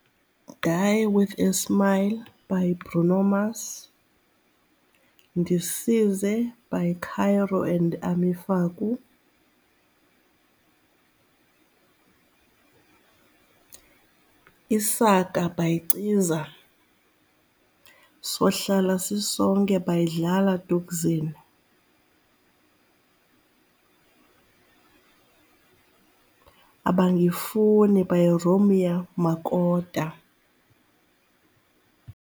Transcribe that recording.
Die with a smile by Bruno Mars, Ndisize by Caiiro and Amu Faku, Isaka by Ciza, Sohlala Sisonke by Dlala Thukzin, Abangifuni by Romeo Makota.